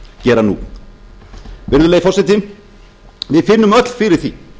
gera nú virðulegi forseti við finnum öll fyrir því